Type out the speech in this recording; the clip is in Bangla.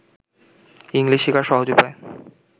ইংলিশ শিখার সহজ উপায়